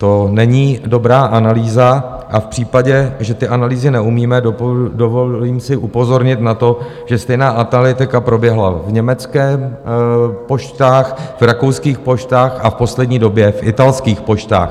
To není dobrá analýza a v případě, že ty analýzy neumíme, dovolím si upozornit na to, že stejná analytika proběhla v německých poštách, v rakouských poštách a v poslední době v italských poštách.